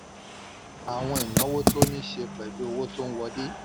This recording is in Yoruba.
àwọn ìnáwó tó ní í ṣe pẹ̀lú owó tó n wọlé.